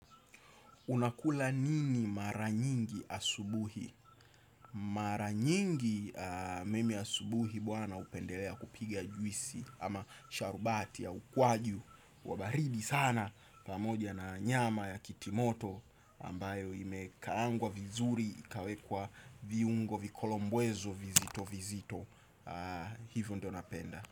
Unakula nini mara nyingi asubuhi? Mara nyingi mimi asubuhi bwana upendelea kupiga juisi ama sharubati au kwaju wa baridi sana pamoja na nyama ya kitimoto ambayo imekaangwa vizuri ikawekwa viungo vikolombwezo vizito vizito. Hivyo ndo napenda.